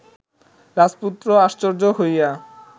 রাজপুত্র আশ্চর্য হইয়া